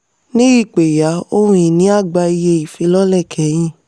ní ìpẹ̀yà ohun-ìní a gba iye ìfilọ́lẹ̀ kẹhin.